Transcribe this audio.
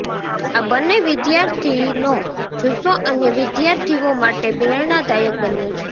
આ બંને વિદ્યાર્થીનો જુસ્સો અન્ય વિદ્યાર્થીઓ માટે પ્રેરણાદાયક બન્યો છે